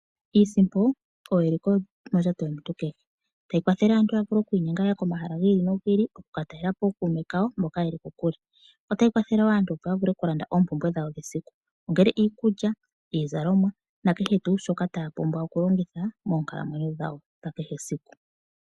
Iisimpo oyo eliko mondjato yomuntu kehe tayi kwathele aantu ya vule okwiinyenga ya ye komahala giili no giili okukatalelapo ookuume kawo mboka ye li kokule ota yi kwathele wo aantu opo ya vule okulanda oompumbwe dhawo dhesiku kehe ongele iikulya, iizalomwa nakehe tuu shoka taya pumbwa okulongitha moonkalamwenyo dhawo dhakehe esiku.